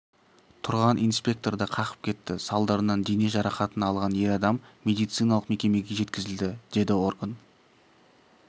тұрған инспекторды қағып кетті салдарынан дене жарақатын алған ер адам медициналық мекемеге жеткізілді деді орган